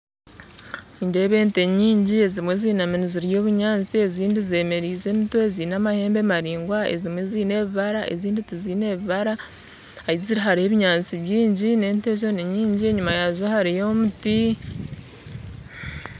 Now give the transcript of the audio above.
Nindeeba ente nyingi ezimwe zinaami nizirya obunyatsi ezindi zemeriize emitwe zaine amahembe maraingwa ezimwe zaine ebibara ezindi tizaine bibara ahu ziri hariho ebinyatsi bwingi n'ente ezo ninyingi enyima yaazo hariyo omuti